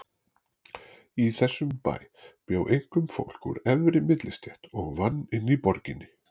Í þessum bæ bjó einkum fólk úr efri millistétt og vann inni í borginni.